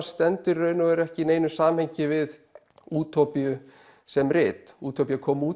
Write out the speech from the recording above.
stendur í raun og veru ekki í neinu samhengi við útópíu sem rit útópía kom út